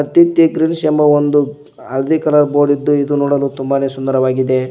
Aditya Greens ಎಂಬ ಒಂದು ಹಳದಿ ಕಲರ್ ಬೋರ್ಡ್ ಇದ್ದು ಇದು ನೋಡಲು ತುಂಬಾನೇ ಸುಂದರವಾಗಿದೆ.